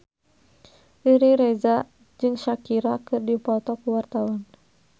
Riri Reza jeung Shakira keur dipoto ku wartawan